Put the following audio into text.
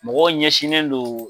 Mɔgɔw ɲɛsinnen do